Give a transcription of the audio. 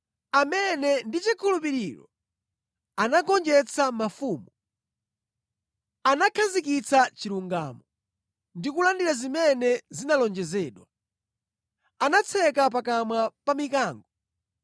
amene ndi chikhulupiriro anagonjetsa mafumu, anakhazikitsa chilungamo ndi kulandira zimene zinalonjezedwa. Anatseka pakamwa pa mikango,